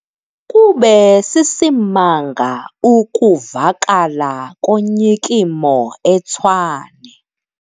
Kube sisimanga ukuvakala konyikimo eTshwane.